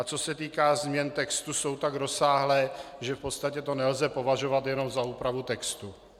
A co se týká změn textu, jsou tak rozsáhlé, že v podstatě to nelze považovat jenom za úpravu textu.